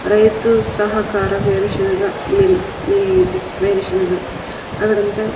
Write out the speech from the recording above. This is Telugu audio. రైతు సహకార వేరుశనగ మిల్ మిల్ ఇది. వేరుశనగ ఆడ అంత --